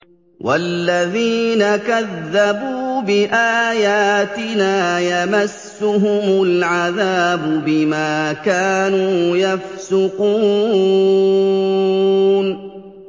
وَالَّذِينَ كَذَّبُوا بِآيَاتِنَا يَمَسُّهُمُ الْعَذَابُ بِمَا كَانُوا يَفْسُقُونَ